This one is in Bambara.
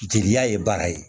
Jeliya ye baara ye